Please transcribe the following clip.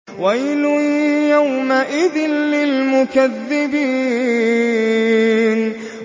وَيْلٌ يَوْمَئِذٍ لِّلْمُكَذِّبِينَ